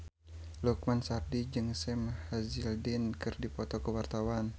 Lukman Sardi jeung Sam Hazeldine keur dipoto ku wartawan